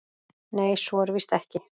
Nei, svo er víst ekki.